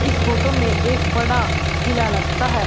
इस फोटो में एक बड़ा किला लगता है।